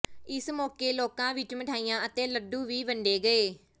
ਇਸ ਮੋਕੇ ਲੋਕਾਂ ਵਿੱਚ ਮਠਿਆਈਆਂ ਅਤੇ ਲੱਡੂ ਵੀ ਵੰਡੇ ਗਏ